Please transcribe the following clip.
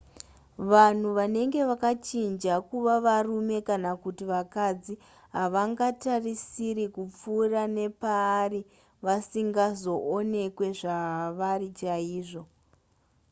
vanhu vanenge vakachinja kuva varume kana kuti vakadzi havangatarisiri kupfuura nepaari vasingazoonekwe zvavari chaizvo